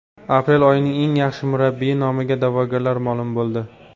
Aprel oyining eng yaxshi murabbiyi nomiga da’vogarlar ma’lum bo‘ldi.